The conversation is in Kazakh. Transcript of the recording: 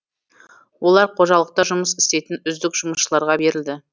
олар қожалықта жұмыс істейтін үздік жұмысшыларға берілді